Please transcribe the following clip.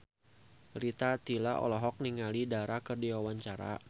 Rita Tila olohok ningali Dara keur diwawancara